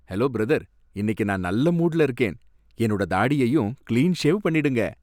Hello brother, இன்னிக்கு நான் நல்ல மூடுல இருக்கேன். என்னோட தாடியையும் கிளீன் ஷேவ் பண்ணிடுங்க.